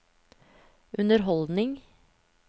underholdning